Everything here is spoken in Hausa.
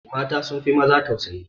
Mata sun fi maza tausayi